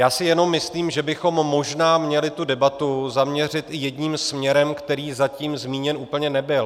Já si jenom myslím, že bychom možná měli tu debatu zaměřit i jedním směrem, který zatím zmíněn úplně nebyl.